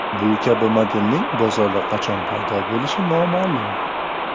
Bu kabi modelning bozorda qachon paydo bo‘lishi ham noma’lum.